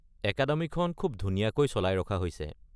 একাডেমিখন খুব ধুনীয়াকৈ চলাই ৰখা হৈছে।